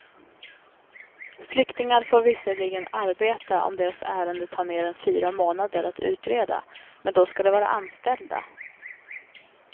Flyktingar får visserligen arbeta om deras ärende tar mer än fyra månader att utreda, men då ska de vara anställda.